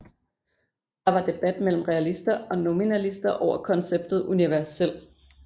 Der var debat mellem realister og nominalister over konceptet universel